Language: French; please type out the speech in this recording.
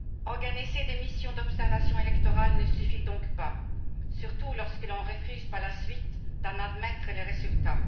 Organiser des missions d'observation électorales ne suffit donc pas, surtout lorsque l'on refuse par la suite d'en admettre le résultat.